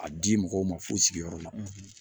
A di mɔgɔw ma fu sigiyɔrɔ la